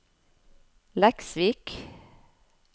Leksvik